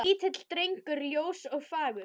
Lítill drengur ljós og fagur.